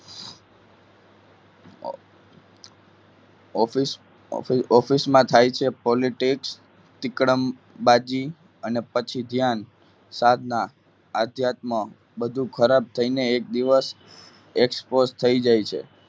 office office માં થાય છે politics ચીકડ અંબાજી અને પછી ધ્યાન સાધના આધ્યાત્મ બધું ખરાબ થઈને એક દિવસ expose થઈ જાય છે.